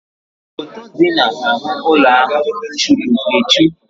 Foto dị n'ahụ́ ụlọ ahụ churu echu.